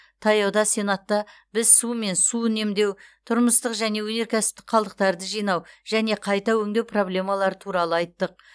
таяуда сенатта біз су мен су үнемдеу тұрмыстық және өнеркәсіптік қалдықтарды жинау және қайта өңдеу проблемалары туралы айттық